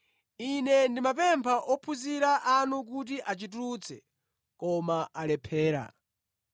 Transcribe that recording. Ine ndinapempha ophunzira anu kuti achitulutse, koma alephera.”